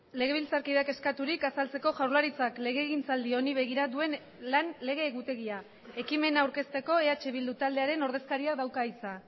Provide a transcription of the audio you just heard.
ekimenak aurkezteko eh bildu taldearen ordezkariak dauka hitza